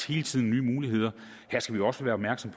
hele tiden nye muligheder her skal vi også være opmærksom